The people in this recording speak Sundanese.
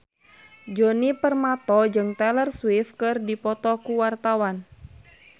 Djoni Permato jeung Taylor Swift keur dipoto ku wartawan